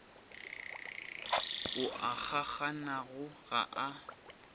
ao a kgakganago ga a